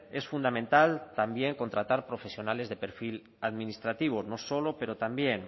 es fundamental también contratar profesionales de perfil administrativo no solo pero también